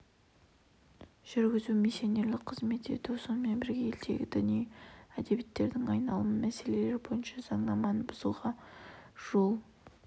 жүргізу миссионерлік қызмет ету сонымен бірге елдегі діни әдебиеттердің айналымы мәселелері бойынша заңнаманы бұзуға жол